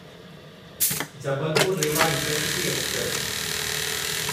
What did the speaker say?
Jabalpur Rewa intercity express